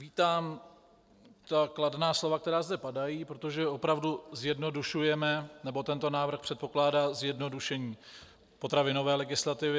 Vítám ta kladná slova, která zde padají, protože opravdu zjednodušujeme - nebo tento návrh předpokládá zjednodušení potravinové legislativy.